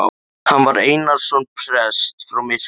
Hann var Einarsson prests frá Myrká.